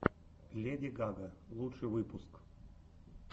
леди гага лучший выпуск